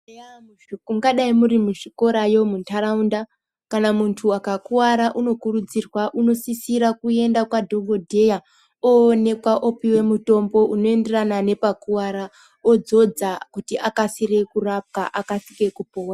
Mungadai muzvikorayo muntaraunda kana muntu akakuwara, unokurudzirwa unosisira kuenda kwadhogodheya oonekwa opiwe mutombo unoenderana nepakuwara odzodza kuti akasire kurapwa, akasire kupora.